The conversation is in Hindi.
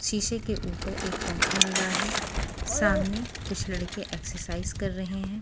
शीशे के ऊपर एक पंखा लगा है सामने कुछ लड़के एक्सरसाइज कर रहे हैं।